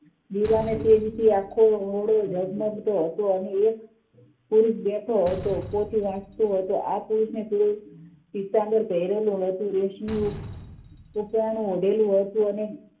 દીવાને તેજથી આખો ઓરડો જગમગતો હતો અને એક પુરુષ બેઠો હતો પોચી રાખતો હતો આ પુરુષને પીળું પીતામ્બર પહેરેલું ન તું રેશમી સુક્રણ ઓઢેલુ હતુ અને